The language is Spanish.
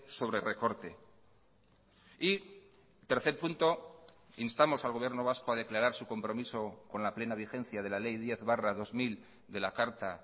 sobre recorte y tercer punto instamos al gobierno vasco a declarar su compromiso con la plena vigencia de la ley diez barra dos mil de la carta